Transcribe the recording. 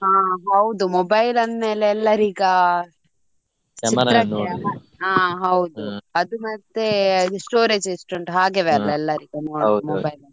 ಹಾ ಹೌದು mobile ಅಂದ್ಮೇಲೆ ಎಲ್ಲರ್ ಈಗ ಹಾ ಹೌದು ಅದು ಮತ್ತೆ ಅದು storage ಎಷ್ಟು ಉಂಟು ಹಾಗೆವೆ ಅಲ್ಲ mobile .